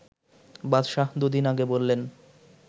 বাদশাহ দুদিন আগে বললেন